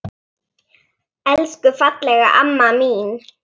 Elsku fallega amma mín.